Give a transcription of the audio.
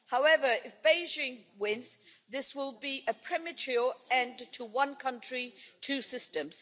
However, if Beijing wins, this will be a premature end to one country, two systems'.